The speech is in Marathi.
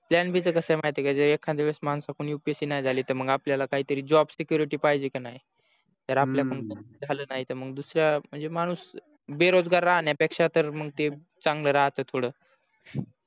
plan b चा कस आहे महित आहे का जर एकदा वेळस माणसा कडून upsc नाही झाली त तर मग आपल्या job security पहिजे की नाही तर आपल्या कडून झाल नही तर म्हणजे दुसऱ्या म्हणजे माणूस बेरोजगर राहण्या पेक्षा तर मग ते चांगल राहत थोड